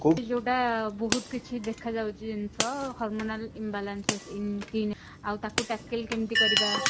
ଯୋଉଟା ବହୁତ କିଛି ଦେଖା ଯାଉଛି ଜିନିଷ hormonal imbalance ଆଉ ତାକୁ କେମିତି କରିବା